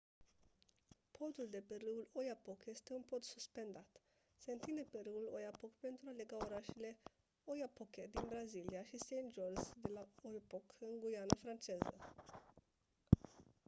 podul de pe râul oyapock este un pod suspendat se întinde pe râul oyapock pentru a lega orașele oiapoque din brazilia și saint-georges de l'oyapock în guyana franceză